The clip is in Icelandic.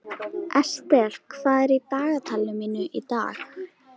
Estel, hvað er í dagatalinu mínu í dag?